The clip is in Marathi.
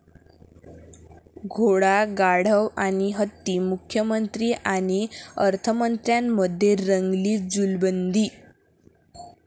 घोडा, गाढव आणि हत्ती, मुख्यमंत्री आणि अर्थमंत्र्यांमध्ये रंगली जुलबंदी!